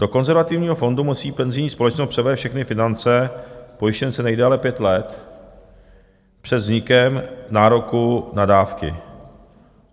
Do konzervativního fondu musí penzijní společnost převést všechny finance pojištěnce nejdéle pět let před vznikem nároku na dávky.